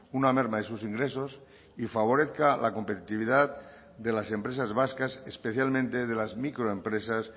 una merma de sus ingresos y favorezca a la competitividad de las empresas vascas especialmente de las microempresas